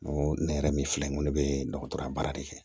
N ko ne yɛrɛ min filɛ nin ne bɛ dɔgɔtɔrɔya baara de kɛ